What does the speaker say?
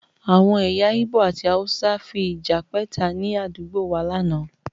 Àwọn ẹ̀yà igbó àti hausa fi ìjà pẹ́ta ni àdúgbò wá láánaà